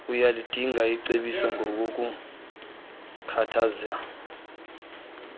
uyalidinga icebiso ngokukhuthaza